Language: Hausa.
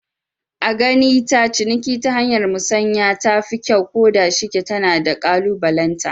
A gani ta ciniki ta hanyar musanya tafi kyau, ko da shike tana da kalubalenta